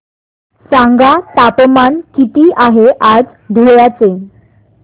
सांगा तापमान किती आहे आज धुळ्याचे